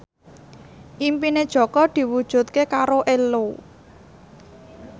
impine Jaka diwujudke karo Ello